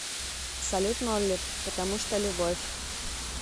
салют молли потому что любовь